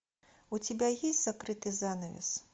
у тебя есть закрытый занавес